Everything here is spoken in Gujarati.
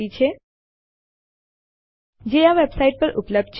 વિગતો માટે આ વેબસાઇટ જુઓ